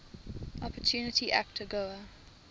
opportunity act agoa